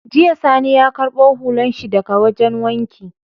Jiya sani ya karbo hular shi daka wajan wanki